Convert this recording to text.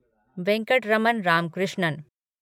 Venkataraman Ramakrishnan